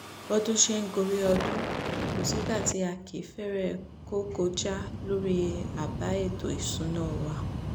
bọ́dún sì ṣe ń gorí ọdún kò sígbà tí a kì í fẹ́rẹ̀ kógo já lórí àbá ètò ìṣúná wa